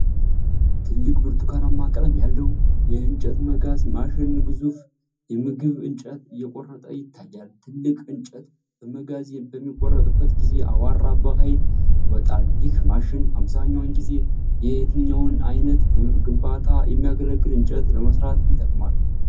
ትልቅ ብርቱካናማ ቀለም ያለው የእንጨት መጋዝ ማሽን ግዙፍ የምዝግብ እንጨት እየቆረጠ ይታያል፤ ትልቅ እንጨት በመጋዝ በሚቆረጥበት ጊዜ አቧራ በኃይል ይወጣል። ይህ ማሽን አብዛኛውን ጊዜ የትኛውን ዓይነት ለግንባታ የሚያገለግል እንጨት ለመስራት ይጠቅማል?